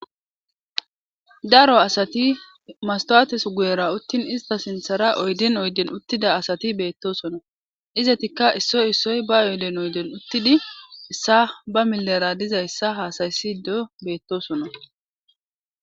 daro asati mastawates guyera uttin ista sinthara oydin oyden uttida asati beettosona izetikka issoy issoy ba oyden oyden uttidi issa ba milera dizayssa haasayssido beettosona